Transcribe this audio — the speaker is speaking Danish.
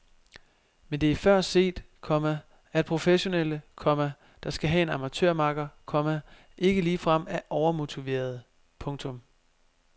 Men det er før set, komma at professionelle, komma der skal have en amatørmakker, komma ikke ligefrem er overmotiverede. punktum